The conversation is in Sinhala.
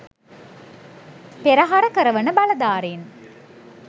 පෙරහර කරවන බලධාරීන්